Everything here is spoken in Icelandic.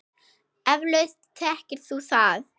Eflaust þekkir þú það.